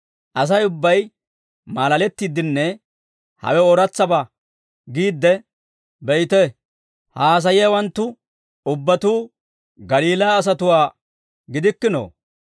Asay ubbay maalalettiiddenne hawe ooratsabaa giidde, «Be'ite; ha haasayiyaawanttu ubbatuu Galiilaa asatuwaa gidikkinoo?